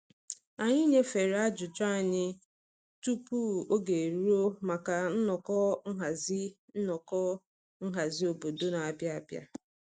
Anyị nyefere ajụjụ anyị tupu oge eruo maka nnọkọ nhazi nnọkọ nhazi obodo n'abịa abịa.